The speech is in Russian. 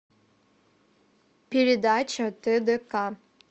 передача тдк